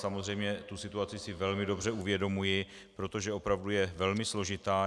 Samozřejmě tu situaci si velmi dobře uvědomuji, protože opravdu je velmi složitá.